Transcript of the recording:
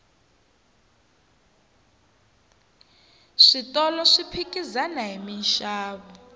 switolo swi phikizana hi minxavo